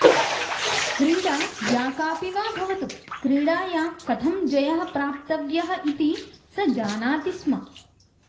कीडा या काऽपि वा भवतु क्रीडायां कथं जयः प्राप्तव्यः इति स जानाति स्म